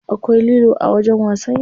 Akwai lilo a wajen wasan yara.